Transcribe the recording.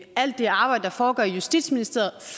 alt det arbejde der foregår i justitsministeriet